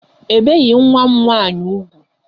Ebeghi nwa m nwaanyị ugwu.